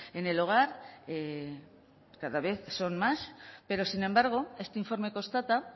en el hogar cada vez son más pero sin embargo este informe constata